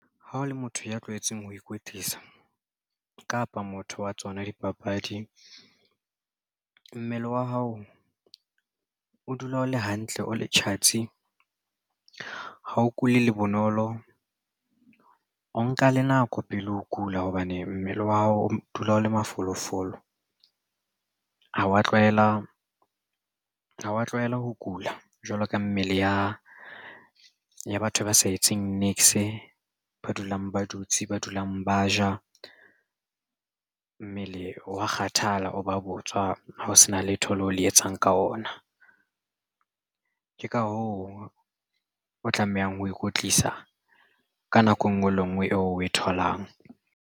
Ha o le motho ya tlwaetseng ho ikwetlisa kapa motho wa tsona dipapadi mmele wa hao o dula o le hantle o le tjhatsi ha o kule le bonolo o nka le nako pele ho kula hobane mmele wa hao o dula o le mafolofolo ha wa tlwaela ho kula jwalo ka mmele ya batho ba sa etseng niks ba dulang ba dutse ba dulang ba ja mmele wa kgathala o ba botswa ha o sena letho leo le etsang ka ona ke ka hoo o tlamehang ho ikwetlisa ka nako engwe le ngwe eo o e tholang.